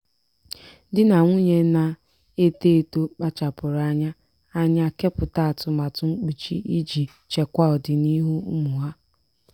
di na nwunye na-eto eto kpachapụrụ anya anya kepụta atụmatụ mkpuchi iji chekwaa ọdịniihu ụmụ ha.